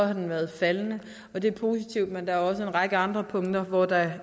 har den været faldende og det er positivt men der er også en række andre punkter hvor der